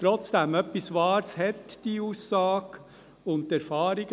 Trotzdem hat die Aussage etwas Wahres.